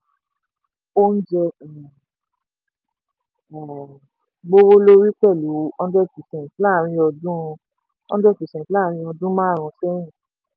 oúnjẹ um gbówó lórí pẹ̀lú hundred percent láàárín ọdún hundred percent láàárín ọdún márun-ún sẹ́yìn.